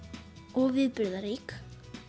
og viðburðarík